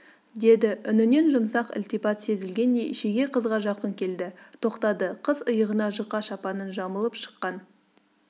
деді үнінен жұмсақ ілтипат сезілгендей шеге қызға жақын келді тоқтады қыз иығына жұқа шапанын жамылып шыққан